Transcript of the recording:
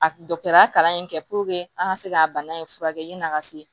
A dɔgɔtɔrɔya kalan in kɛ an ka se ka bana in furakɛ yan'a ka se